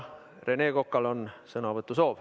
Rene Kokal on sõnavõtusoov.